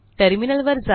टर्मिनलवर जा